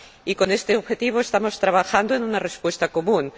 Y, con este objetivo, estamos trabajando en una respuesta común.